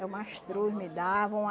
É o mastruz, me davam.